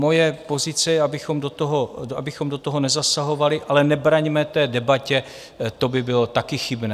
Moje pozice je, abychom do toho nezasahovali, ale nebraňme té debatě, to by bylo také chybné.